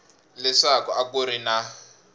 leswaku a ku ri na